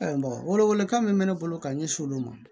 wele wele kan min bɛ ne bolo ka ɲɛsin olu ma